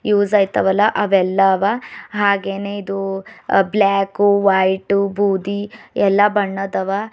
Use ಆಯ್ತಾ ವಲ್ಲ ಅವೆಲ್ಲ ಅವ ಹಾಗೇನೇ ಇದು ಬ್ಲಾಕು ವೈಟು ಬುದಿ ಎಲ್ಲಾ ಬಣ್ಣದ್ ಅವ.